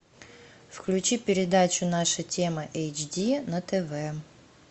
включи передачу наша тема эйч ди на тв